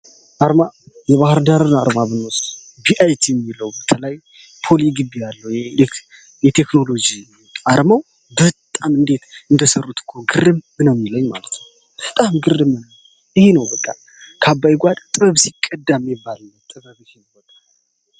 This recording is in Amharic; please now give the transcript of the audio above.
አርማ የባህር ዳርን አርማ የሚለው ፖሊ ግቢ የቴክኖሎጂ አርማው በጣም እንዴት እንደሚያምር በጣም ግርም ነው የሚለኝ ይሄ ነው ከአባይ ጓዳ ጥበብ ሲቀዳ የሚባለው።